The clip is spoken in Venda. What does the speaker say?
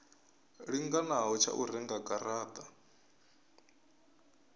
linganaho tsha u renga garata